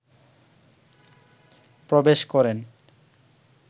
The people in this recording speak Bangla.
প্রবেশ করেন,